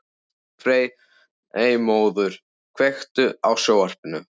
Freymóður, kveiktu á sjónvarpinu.